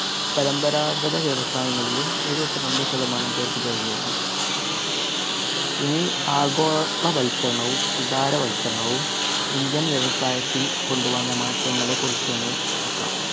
പരമ്പരാഗത വ്യവസായങ്ങളിലും എഴുപതിരണ്ട് ശതമാനം പേര്‍ക്ക് തൊഴിലേകി. ഇനി ആഗോളവൽക്കരണവും ഉദാരവത്ക്കരണവും ഇന്ത്യന്‍ വ്യവസായത്തില്‍ കൊണ്ടുവന്ന മാറ്റങ്ങളെ കുറിച്ച് ഒന്ന് നോക്കാം.